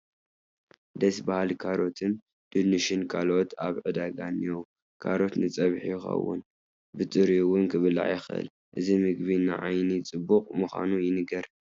ደስ በሃሊ ካሮትን፣ ድንሽን ካልኦትን ኣብ ዕዳጋ እኔዉ፡፡ ካሮት ንፀብሒ ይኸውን፡፡ ብጥሪኡ እውን ክብላዕ ይኽእል፡፡ እዚ ምግቢ ንዓይኒ ፅቡቕ ምዃኑ ይንገር፡፡